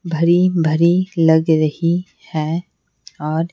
भरी भरी लग रही है और--